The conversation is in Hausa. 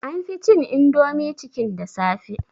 An fi cin indomie chicken da safe